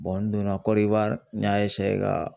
n donna kɔdiwari n y'a ka